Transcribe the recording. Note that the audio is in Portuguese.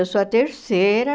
Eu sou a terceira.